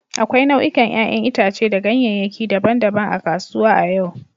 Akwai nau'ikan 'ƴa'ƴan itace da ganyeyaki daban-daban a kasuwa a yau.